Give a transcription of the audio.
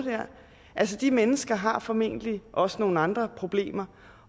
altså de mennesker har formentlig også nogle andre problemer